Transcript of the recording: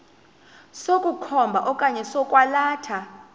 sokukhomba okanye sokwalatha